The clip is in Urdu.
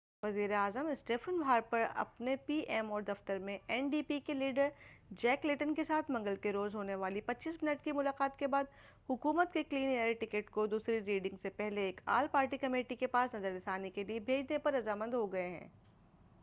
وزیر اعظم اسٹیفن ہارپر اپنے پی ایم او دفتر میں این ڈی پی کے لیڈر جیک لیٹن کے ساتھ منگل کے روز ہونے والی 25 منٹ کی ملاقات کے بعد حکومت کے کلین ایئر ایکٹ' کو دوسری ریڈنگ سے پہلے ایک آل پارٹی کمیٹی کے پاس نظر ثانی کے لئے بھیجنے پر رضامند ہوگئے ہیں